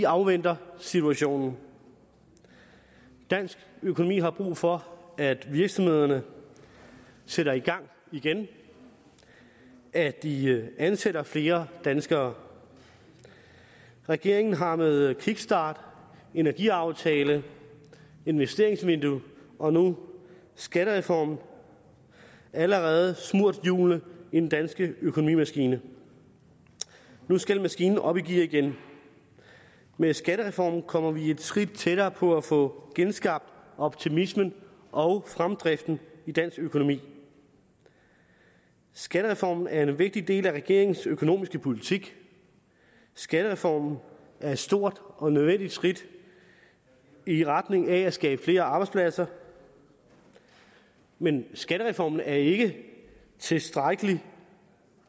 afventer situationen dansk økonomi har brug for at virksomhederne sætter i gang igen at de ansætter flere danskere regeringen har med en kickstart en energiaftale et investeringsvindue og nu en skattereform allerede smurt hjulene i den danske økonomimaskine nu skal maskinen op i gear igen med skattereformen kommer vi et skridt tættere på at få genskabt optimismen og fremdriften i dansk økonomi skattereformen er en vigtig del af regeringens økonomiske politik skattereformen er et stort og nødvendigt skridt i retning af at skabe flere arbejdspladser men skattereformen er ikke tilstrækkelig